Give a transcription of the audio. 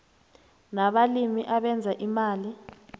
nabalimi abenza imali